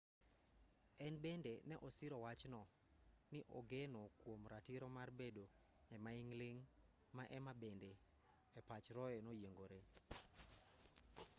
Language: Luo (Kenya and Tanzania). en bende ne osiro wachno ni ogeno kuom ratiro mar bedo e maing' ling' ma ema bende e pach roe noyiengoree